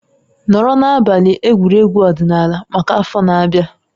Nọrọ na abalị egwuregwu ọdịnala maka afọ na-abịa